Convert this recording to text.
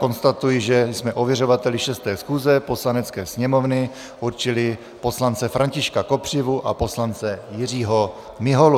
Konstatuji, že jsme ověřovateli 6. schůze Poslanecké sněmovny určili poslance Františka Kopřivu a poslance Jiřího Miholu.